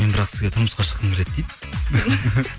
мен бірақ сізге тұрмысқа шыққым келеді дейді